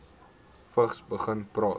vigs begin praat